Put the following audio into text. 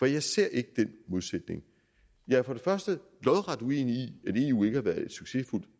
jeg ser ikke den modsætning jeg er for det første lodret uenig i at eu ikke har været et succesfuldt